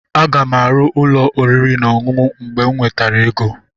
Aga m arụ ụlọ oriri na ọṅụṅụ mgbe m nwetara ego.